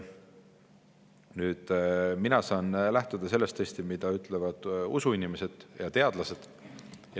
Nüüd, mina saan lähtuda sellest, mida ütlevad usuinimesed ja teadlased.